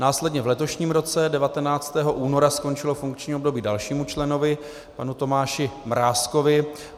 Následně v letošním roce 19. února skončilo funkční období dalšímu členovi, panu Tomáši Mrázkovi.